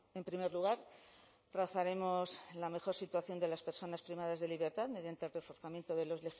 en primer lugar trazaremos la mejor situación de las personas privadas de libertad mediante el reforzamiento de los